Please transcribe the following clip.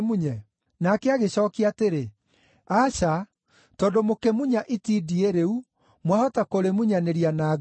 “Nake agĩcookia atĩrĩ, ‘Aca, tondũ mũkĩmunya itindiĩ rĩu, mwahota kũrĩmunyanĩria na ngano.